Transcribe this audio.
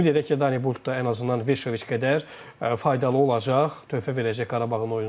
Ümid edək ki, Danibolt da ən azından Veşoviç qədər faydalı olacaq, töhfə verəcək Qarabağın oyuna.